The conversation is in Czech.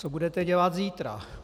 Co budete dělat zítra?